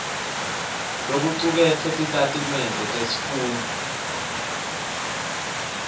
lokucuketfwe titatimende tesifundvo